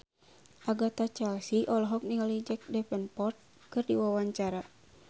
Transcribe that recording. Agatha Chelsea olohok ningali Jack Davenport keur diwawancara